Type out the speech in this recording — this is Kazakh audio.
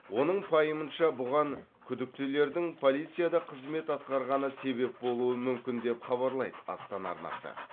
оның пайымынша бұған күдіктілердің полицияда қызмет атқарғаны себеп болуы мүмкін деп хабарлайды астана арнасы